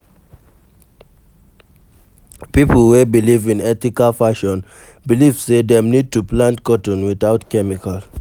Pipo wey belive in ethical fashion believe sey dem need to plant cotton without chemical